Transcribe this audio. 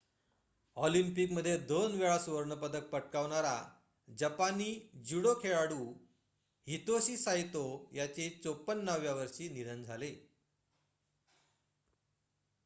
ऑलिम्पिकमध्ये दोनवेळा सुवर्ण पदक पटकावणारा जपानी ज्युडो खेळाडू हितोशी साइतो याचे ५४ व्या वर्षी निधन झाले